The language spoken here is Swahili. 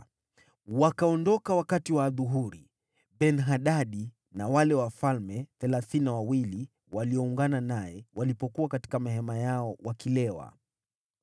Wakaondoka wakati wa adhuhuri, Ben-Hadadi na wale wafalme thelathini na wawili walioungana naye walipokuwa katika mahema yao wakilewa.